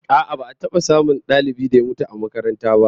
A'a, ba'a taba samun dalibin da ya mutum ba a makarantar